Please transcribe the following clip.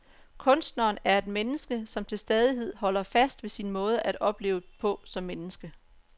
Kunstneren er et menneske, som til stadighed holder fast ved sin måde at opleve på som menneske.